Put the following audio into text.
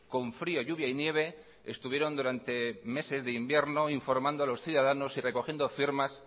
con frío lluvia y nieve estuvieron durante meses de invierno informando a los ciudadanos y recogiendo firmas